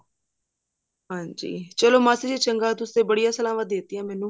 ਹਾਂਜੀ ਚਲੋ ਮਾਸੀ ਜੀ ਚੰਗਾ ਤੁਸੀਂ ਬੜੀਆਂ ਸਲਾਹਵਾਂ ਦੇਤੀਂ ਮੈਨੂੰ